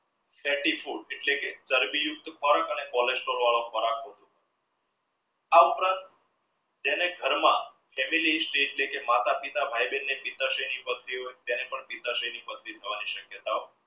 fatty food એટલે કે ચરબી યુક્ત ફળ અને cholesterol વાળો ખોરાક આ ઉપરાંત જાણે ઘરમાં માતા પિતા ભાઈ બહેન ને પથરી તેને પણ પથરી થવાની શક્યતા ઓ